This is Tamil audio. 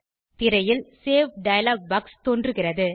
திரையில் சேவ் டயலாக் பாக்ஸ் தோன்றுகிறது